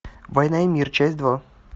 война и мир часть два